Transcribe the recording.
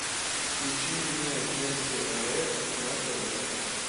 включи мне вместе рф на тв